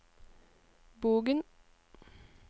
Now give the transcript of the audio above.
Bogen